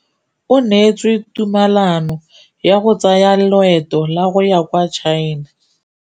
O neetswe tumalanô ya go tsaya loetô la go ya kwa China.